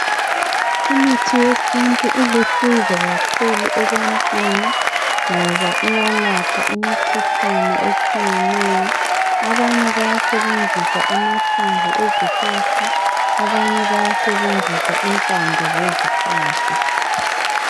Imithi yesintu ilusizo kakhulu ebantwini ngoba iyalapha imikhuhlane etshiyeneyo. Abanye bayasebenzisa amahlamvu zezihlahla, abanye bayasebenzisa impande zezihlahla.